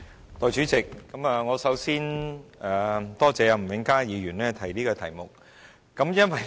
代理主席，我首先多謝吳永嘉議員提出這項議題。